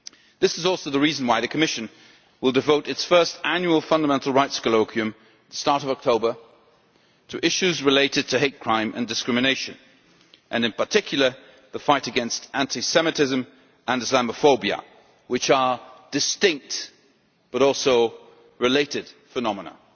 This is also the reason why the Commission will devote its first annual fundamental rights colloquium at the start of October to issues related to hate crime and discrimination, and in particular the fight against anti Semitism and Islamophobia, which are distinct but related phenomena.